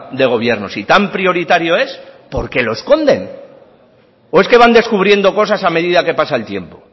de gobierno si tan prioritario es por qué lo esconden o es que van descubriendo cosas a medida que pasa el tiempo